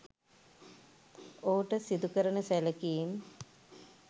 ඔහුට සිදුකරන සැලකීම්